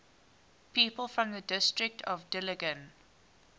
people from the district of dillingen